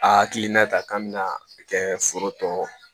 A hakilina ta k'an bɛna kɛ foro tɔ ye